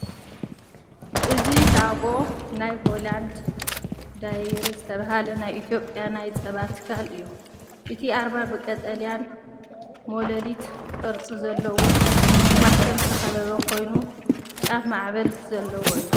እዚ ሎጎ ናይ ሆላንድ ዳይሪ ዝተባህለ ናይ ኢትዮጵያ ናይ ጸባ ትካል እዩ። እቲ ኣርማ ብቐጠልያን ሞላሊት ቅርጺ ዘለዎን ማሕተም ዝተኸበበ ኮይኑ ጫፍ ማዕበል ዘለዎ እዩ።